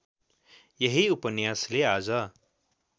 यही उपन्यासले आज